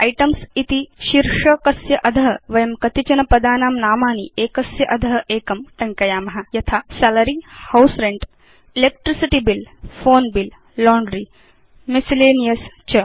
items इति शीर्षकस्य अध वयं कतिचनपदानां नामानि एकस्य अध एकं टङ्कयाम यथा salary house rent electricity bill phone bill laundry miscellaneous च